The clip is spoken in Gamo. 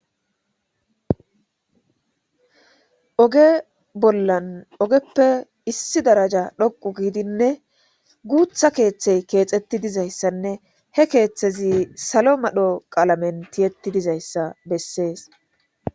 oge bollan ogeppe issi daraja dhoqu giidinne guutha keeththey keexetti dizayssanne he keeththezi salo madho qaalamen tiyetti dizayssa bessees.